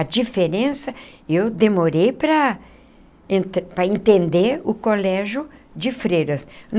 A diferença, eu demorei para para entender o colégio de freiras.